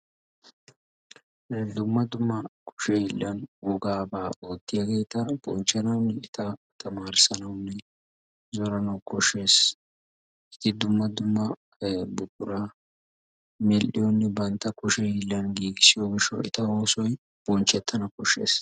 Dumma dumma kushe hiilan wogaaba oottiyaageeta bonchchanaw, eta tammarissawunne zoranaw koshshees. eti dumma dumma buqura mel''iyoonne bantta kushee hiilan giigissiyo gishshaw eta oosoy bonchchetana koshshees.